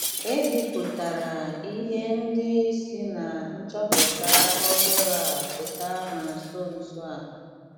E bipụtara ihe ndị si ná nchọpụta ọhụrụ a pụta na nso nso a.